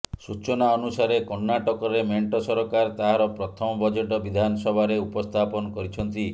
ସୂଚନା ଅନୁସାରେ କର୍ଣ୍ଣାଟକରେ ମେଣ୍ଟ ସରକାର ତାହାର ପ୍ରଥମ ବଜେଟ୍ ବିଧାନସଭାରେ ଉପସ୍ଥାପନ କରିଛନ୍ତି